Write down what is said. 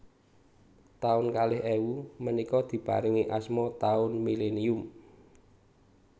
Taun kalih ewu menika diparingi asma taun millenium